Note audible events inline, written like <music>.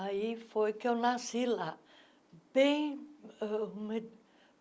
Aí foi que eu nasci lá. bem <unintelligible>